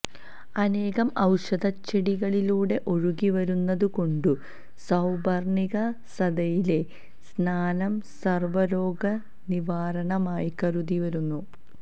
അനേകം ഔഷധച്ചെടികളിലൂടെ ഒഴുകി വരുന്നതു കൊണ്ടു സൌപര്ണിക നദിയിലെ സ്നാനം സര്വ്വരോഗനിവാരണമായി കരുതി വരുന്നു